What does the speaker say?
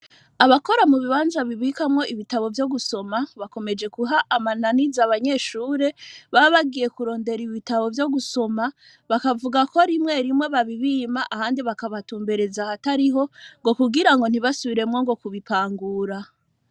Abakora mu bibanza bibakamwo ibitabo vyo gusoma bakomeje guha amananiza abanyeshure baba bagiye kurondera ibitabo vyo gusoma bakavuga ko rimwe rimwe babibima ahandi bakabatumbereza ahatariho ngo kugirango ntibasubiremwo ngo kubipangura.